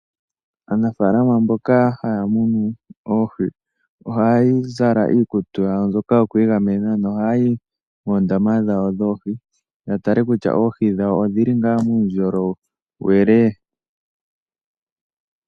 Aanafaalama mboka haya munu oohi ohaya zala iikutu yawo mbyoka yoku igamena, nohaya yi moondama dhawo dhoohi ya tale ngele oohi dhawo odhi li ngaa muundjolowele.